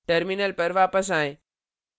terminal पर वापस आएं